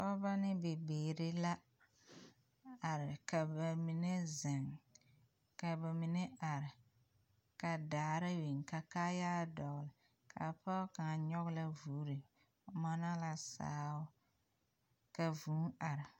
Pɔgeba ne bibiiri la are ka ba mine zeŋ ka ba mine are ka daare biŋ ka kaayare a dɔgle ka pɔge kaŋa nyɔge la vogre o mɔnɔ la sao ka vūū are.